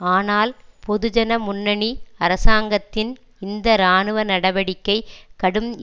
ஆனால் பொதுஜன முன்னணி அரசாங்கத்தின் இந்த இராணுவ நடவடிக்கை கடும்